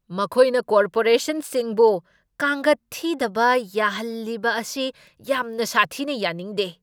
ꯃꯈꯣꯏꯅ ꯀꯣꯔꯄꯣꯔꯦꯁꯟꯁꯤꯡꯕꯨ ꯀꯥꯡꯒꯠ ꯊꯤꯗꯕ ꯌꯥꯍꯜꯂꯤꯕ ꯑꯁꯤ ꯌꯥꯝꯅ ꯁꯥꯊꯤꯅ ꯌꯥꯅꯤꯡꯗꯦ ꯫